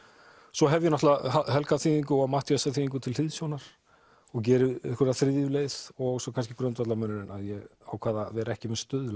svo hef ég náttúrulega Helga þýðingu og Matthíasar þýðingu til hliðsjónar og geri einhverja þriðju leið svo kannski grundvallarmunurinn að ég ákvað að vera ekki með stuðla